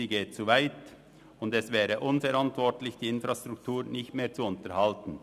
Sie geht zu weit, und es wäre unverantwortlich, die Infrastruktur nicht mehr zu unterhalten.